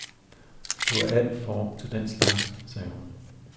Du er alt for ung til den slags, sagde hun.